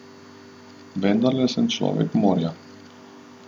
Vendarle sem človek morja.